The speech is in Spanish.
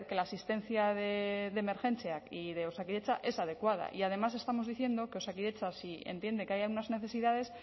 la asistencia de emergentziak y de osakidetza es adecuada y además estamos diciendo que osakidetza si entiende que haya unas necesidades